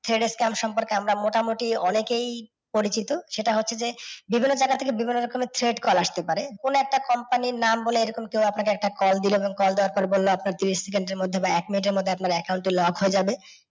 thread scam সম্পর্কে আমরা মোটামুটি অনেকেই পরিচিত। সেটা হচ্ছে যে বিভিন্ন জায়গা থেকে বিভিন্ন রকমের thread call আসতে পারে। কোনও একটা company এর নাম বলে এরকম কাও আপনাকে একটা কল দিল এবং কল দেওয়ার পরে বলল আপনার জিনিস সেকন্দ এর মধ্যে বা এক মিনিট এর মধ্যে আপনার account lock হয়ে যাবে